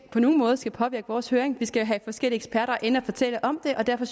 på nogen måde skal påvirke vores høring vi skal jo have forskellige eksperter ind at fortælle om det og derfor